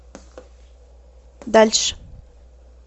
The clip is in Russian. дальше